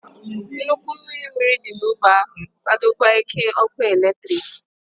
Nnukwu mmiri mmiri dị n'ógbè ahụ na-akwadokwa ike ọkụ eletrik.